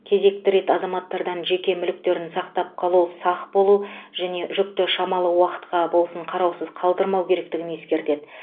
кезекті рет азаматтардың жеке мүліктерін сақтап қалу сақ болу және жүкті шамалы уақытқа болсын қараусыз қалдырмау керектігін ескертеді